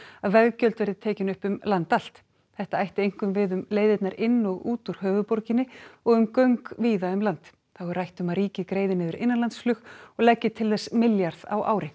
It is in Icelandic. að veggjöld verði tekin upp um land allt þetta ætti einkum við um leiðirnar inn og út úr höfuðborginni og um göng víða um land þá er rætt um að ríkið greiði niður innanlandsflug og leggi til þess milljarð á ári